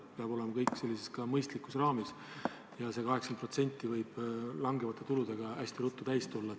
Kõik peab olema mõistlikus raamis ja see 80% võib langevate tulude korral hästi ruttu täis tulla.